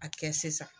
A kɛ sisan